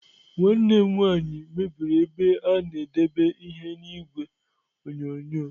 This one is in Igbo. Nwanne m nwaanyị mebiri ebe a na-edebe ihe n'igwe onyonyo.